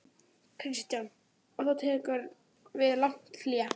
Kristján: Og þá tekur við langt hlé?